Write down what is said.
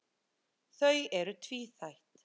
Þau eru tvíþætt.